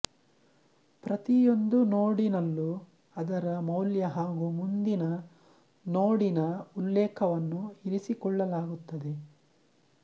ಪ್ರತಿಯೊಂದು ನೋಡಿನಲ್ಲು ಅದರ ಮೌಲ್ಯ ಹಾಗು ಮುಂದಿನ ನೋಡಿನ ಉಲ್ಲೇಖವನ್ನು ಇರಿಸಿಕೊಳ್ಳಲಾಗುತ್ತದೆ